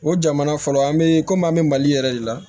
O jamana fɔlɔ an be komi an be mali yɛrɛ de la